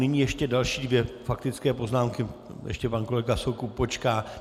Nyní ještě další dvě faktické poznámky, ještě pan kolega Soukup počká.